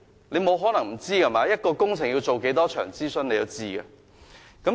你不可能不知道的，一項工程要做多少場諮詢，你是知道的。